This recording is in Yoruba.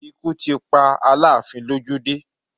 Ikú ti pa Aláàfin lójú dé